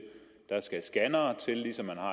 ligesom man har